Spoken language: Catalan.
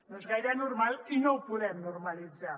no és gaire normal i no ho podem normalitzar